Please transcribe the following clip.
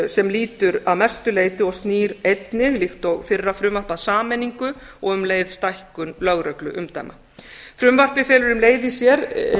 sem lýtur að mestu leyti og snýr einnig líkt og fyrra frumvarp að sameiningu og um leið stækkun lögregluumdæma frumvarpið felur um leið í sér